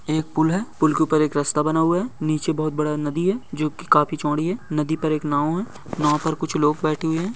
एक पुल है पुल के ऊपर एक रास्ता बना हुआ है नीचे बहुत बड़ा नदी है जो की काफी चौड़ी है नदी पर एक नाव है नाव पर कुछ लोग बैठे हुए है।